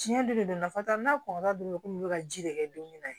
Tiɲɛ don de don nafa t'a la n'a kɔnna dɔrɔn komi i bɛ ka ji de kɛ don min na